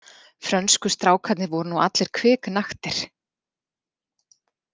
Frönsku strákarnir voru nú allir kviknaktir.